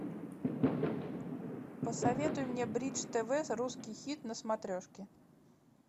посоветуй мне бридж тв русский хит на смотрешке